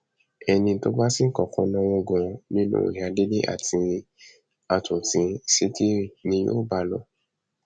ẹni tó bá sì kọkọ náwó gan nínú ìyá délé àti àtúntì ṣìkírí ni yóò bá lò